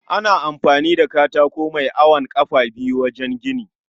Ana amfani da katako mai awon kafa biyu wajen gini